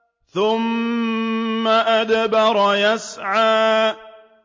ثُمَّ أَدْبَرَ يَسْعَىٰ